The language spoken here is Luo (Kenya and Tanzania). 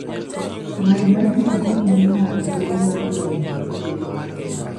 Ng'wech mar pikipiki miyo ng'ato thuolo mar goyo mbaka gi jowetene.